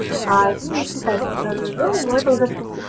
страна огромная